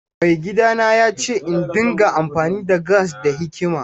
Maigidana ya ce in dinga amfani da gas da hikima.